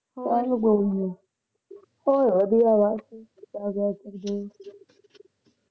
ਕੋਈ ਨਾ ਹੋਰ ਵਧੀਆ ਬਸ ਸਕਦੀ